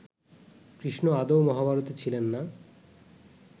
কৃষ্ণ আদৌ মহাভারতে ছিলেন না